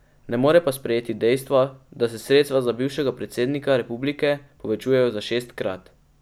Ne more pa sprejeti dejstva, da se sredstva za bivšega predsednika republike povečujejo za šestkrat.